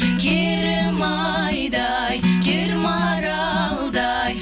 керім айдай кер маралдай